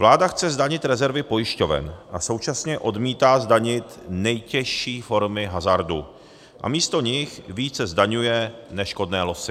Vláda chce zdanit rezervy pojišťoven a současně odmítá zdanit nejtěžší formy hazardu a místo nich více zdaňuje neškodné losy.